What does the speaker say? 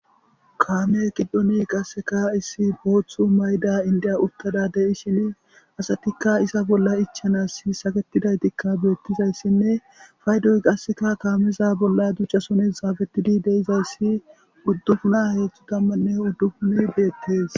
Kaame qiddoni qasseka issi booththu mayda indiya uttada deishin asatikka isa bolla ichanas saketidaytikka beettizayssinne paydoy qasseka kaameza bolla ducchasones zaafettidi deizayssi uddupuna heedzhthu tammanne uddupun beettes.